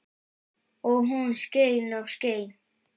Og hún skein og skein.